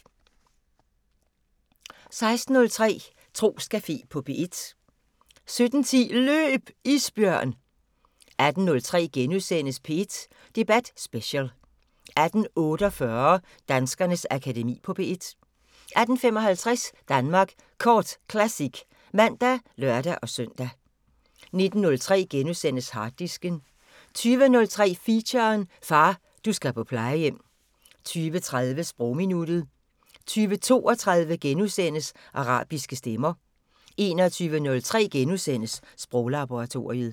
16:03: Troscafé på P1 17:10: Løb! Isbjørn 18:03: P1 Debat Special * 18:48: Danskernes Akademi på P1 18:55: Danmark Kort Classic (man og lør-søn) 19:03: Harddisken * 20:03: Feature: Far, du skal på plejehjem 20:30: Sprogminuttet 20:32: Arabiske stemmer * 21:03: Sproglaboratoriet *